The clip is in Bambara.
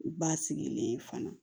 U ba sigilen fana